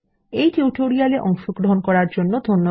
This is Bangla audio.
এই টিউটোরিয়ালে অংশগ্রহন করার জন্য ধন্যবাদ